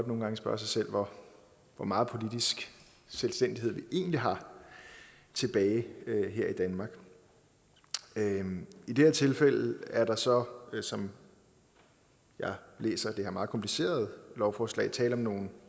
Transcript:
nogle gange spørge sig selv hvor meget politisk selvstændighed vi egentlig har tilbage her i danmark i det her tilfælde er der så som jeg læser det her meget komplicerede lovforslag tale om nogle